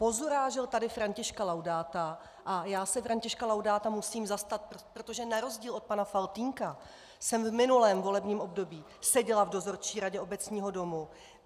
Pozurážel tady Františka Laudáta, a já se Františka Laudáta musím zastat, protože na rozdíl od pana Faltýnka jsem v minulém volebním období seděla v dozorčí radě Obecního domu.